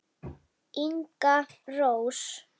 Inga Rós.